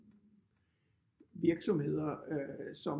Virksomheder som